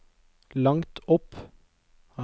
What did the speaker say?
langt opp